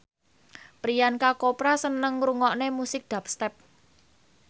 Priyanka Chopra seneng ngrungokne musik dubstep